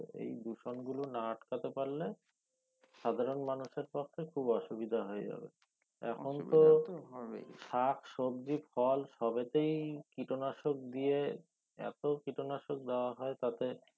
এই দূষণ গুলো না আটকাতে পারলে সাধারন র পক্ষে খুব অসুবিধা হয়ে যাবে এখন তো শাক সবজি ফল সবেতেই কীটনাশক দিয়ে এতো কীটনাশক দেওয়া হয় তাতে